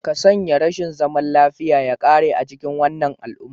Ka sanya rashin zaman lafiya ya ƙare a cikin wannan al'umma